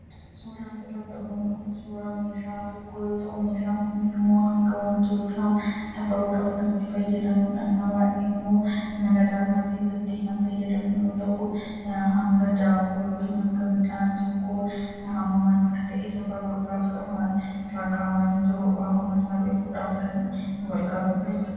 suudaan sarratti argunu kun suuraa meeshaa tokkoo yoo ta'u meeshaan kunis immoo hanga wantoota safaruudhaaf garitti fayyadamnudhannaa waa'ee immoo mana daakaa keessatti kan fayyadamoo ta'u hanga daakuu yookii hanga midhaan tokkoo ahamamati ka ta'e safaruudhaaf irakaawanii hammasaa beekuudhaaf kan bargaarudhachu